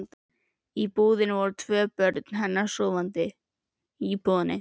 Í íbúðinni voru tvö börn hennar sofandi.